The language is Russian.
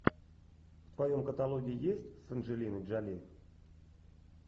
в твоем каталоге есть с анджелиной джоли